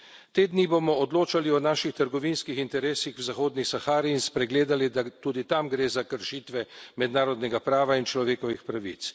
Te dni bomo odločali o naših trgovinskih interesih v Zahodni Sahari in spregledali, da tudi tam gre za kršitve mednarodnega prava in človekovih pravic.